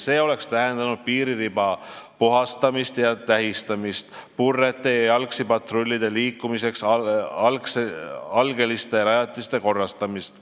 See oleks tähendanud piiririba puhastamist ja tähistamist, purrete ja jalgsipatrullide liikumiseks vajalike algeliste rajatiste korrastamist.